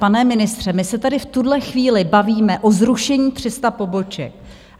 Pane ministře, my se tady v tuhle chvíli bavíme o zrušení 300 poboček.